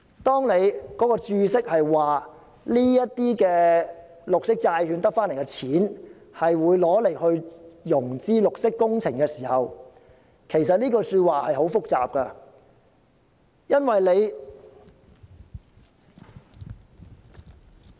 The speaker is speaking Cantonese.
當局在註釋中說明這些由綠色債券集資而來的資金，將會用作融資綠色工程時，這是很複雜的。